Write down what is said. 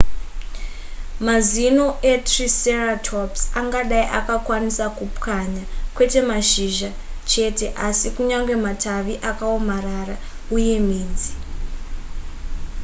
mazino etriceratops angadai akakwanisa kupwanya kwete mashizha cheteasi kunyange matavi akaomarara uye midzi